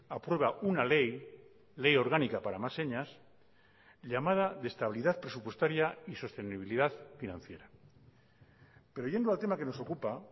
aprueba una ley ley orgánica para más señas llamada de estabilidad presupuestaria y sostenibilidad financiera pero yendo al tema que nos ocupa